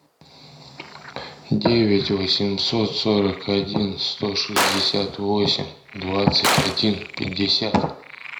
девять восемьсот сорок один сто шестьдесят восемь двадцать один пятьдесят